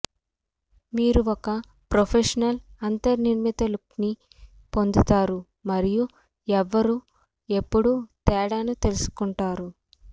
మీరు ఒక ప్రొఫెషనల్ అంతర్నిర్మిత లుక్ని పొందుతారు మరియు ఎవరూ ఎప్పుడూ తేడాను తెలుసుకుంటారు